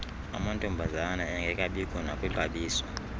amantombazana engekabikho nakwixabiso